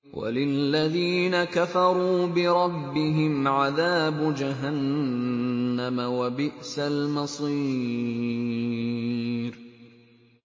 وَلِلَّذِينَ كَفَرُوا بِرَبِّهِمْ عَذَابُ جَهَنَّمَ ۖ وَبِئْسَ الْمَصِيرُ